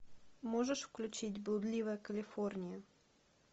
можешь включить блудливая калифорния